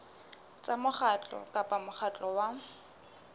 tsa mokgatlo kapa mokgatlo wa